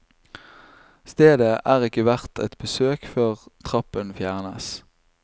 Stedet er ikke verdt et besøk før trappen fjernes.